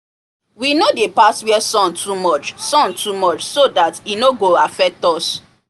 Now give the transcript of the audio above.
we no dey pass where sun too much sun too much so that e no go affect us